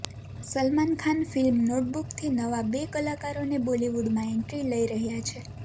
Salman Khan film નોટબુકથી નવા બે કલાકારોને બોલીવૂડમાં એન્ટ્રી લઈ રહ્યા છે